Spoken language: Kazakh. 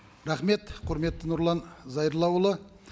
рахмет құрметті нұрлан зайроллаұлы